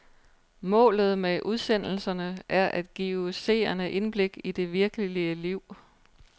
Målet med udsendelserne er at give seerne indblik i det virkelige liv.